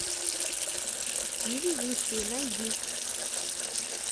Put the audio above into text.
невезучие найди